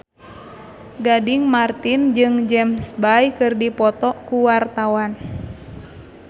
Gading Marten jeung James Bay keur dipoto ku wartawan